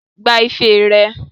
Gba ife rẹ!